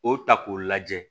O ta k'o lajɛ